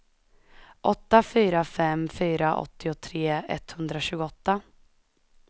åtta fyra fem fyra åttiotre etthundratjugoåtta